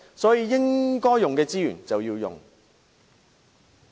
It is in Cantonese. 所以，資源應用則用。